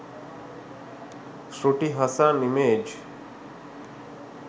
shruti hassan image